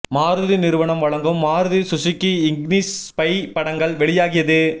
மாருதி நிறுவனம் வழங்கும் Maruti Suzuki Ignis spy படங்கள் வெளியாகியது